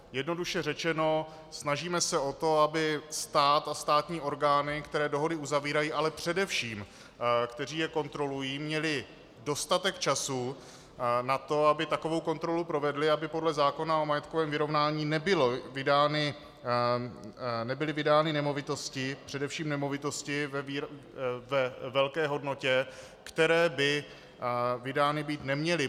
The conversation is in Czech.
Jednoduše řečeno, snažíme se o to, aby stát a státní orgány, které dohody uzavírají, ale především které je kontrolují, měly dostatek času na to, aby takovou kontrolu provedly, aby podle zákona o majetkovém vyrovnání nebyly vydány nemovitosti, především nemovitosti ve velké hodnotě, které by vydány být neměly.